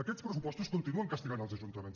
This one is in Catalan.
aquests pressupostos continuen castigant els ajuntaments